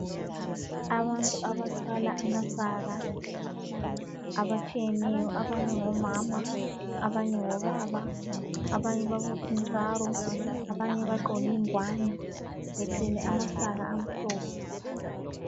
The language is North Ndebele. Abantu abathwala amasaka abatshiyeneyo abanye ngomama abanye ngobaba abanye babophe intsaro abanye bagqoke ingowane bethwele amasaka amhlophe.